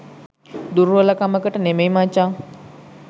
දුර්වල කමකට නෙමෙයි මචං